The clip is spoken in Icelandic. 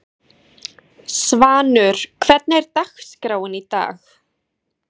Örn lagðist flatur inn í sitt tjald og lét sig dreyma.